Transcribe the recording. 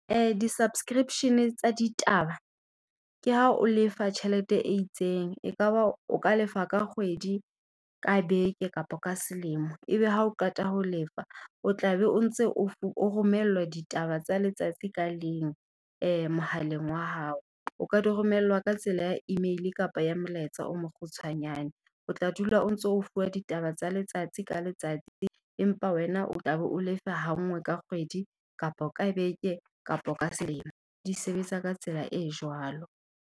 Di-subscription tsa ditaba ke ha o lefa tjhelete e itseng, ekaba o ka lefa ka kgwedi, ka beke kapa ka selemo. Ebe ha o qeta ho lefa, o tla be o ntse o romellwa ditaba tsa letsatsi ka leng mohaleng wa hao. O ka di romellwa ka tsela ya email kapa ya molaetsa o mo kgutshwanyane. O tla dula o ntso o fuwa ditaba tsa letsatsi ka letsatsi. Empa wena o tla be o lefa ha ngwe ka kgwedi, kapa ka beke, kapo ka selemo. Di sebetsa ka tsela e jwalo.